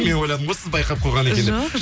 мен ойладым ғой сіз байқап қойған екен деп